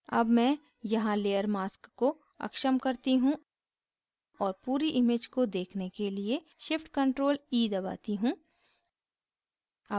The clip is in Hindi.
अब मैं यहाँ layer mask को अक्षम करती हूँ और पूरी image को देखने के लिए shift + ctrl + e दबाती हूँ